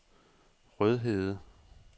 Rødhede